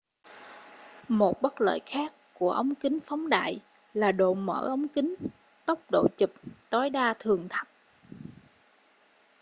một bất lợi khác của ống kính phóng đại là độ mở ống kính tốc độ chụp tối đa thường thấp